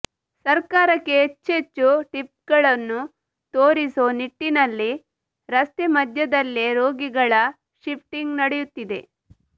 ಸರ್ಕಾರಕ್ಕೆ ಹೆಚ್ಚೆಚ್ಚು ಟ್ರಿಪ್ಗಳನ್ನು ತೋರಿಸೋ ನಿಟ್ಟಿನಲ್ಲಿ ರಸ್ತೆ ಮಧ್ಯದಲ್ಲೇ ರೋಗಿಗಳ ಶಿಫ್ಟಿಂಗ್ ನಡೆಯುತ್ತಿದೆ